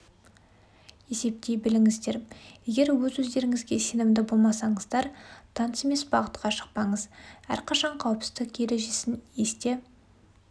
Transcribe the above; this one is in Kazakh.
есептей біліңіздерп егер өз өздеріңізге секнімді болмасаңыздар таныс емес бағытқа шықпаңыз әрқашан қауіпсіздіку ережесін есте